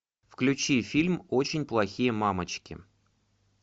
включи фильм очень плохие мамочки